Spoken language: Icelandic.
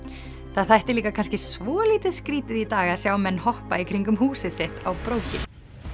það þætti líka kannski svolítið skrítið í dag að sjá menn hoppa í kringum húsið sitt á brókinni